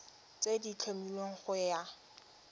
tse di tlhomilweng go ya